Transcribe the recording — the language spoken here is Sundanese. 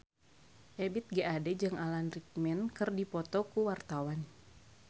Ebith G. Ade jeung Alan Rickman keur dipoto ku wartawan